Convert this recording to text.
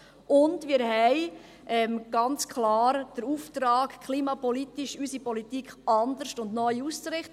Und wir haben ganz klar den Auftrag, unsere Politik klimapolitisch anderes und neu auszurichten.